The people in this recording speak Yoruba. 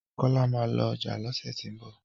kola má lọ ọjà lọsẹ ti n bọ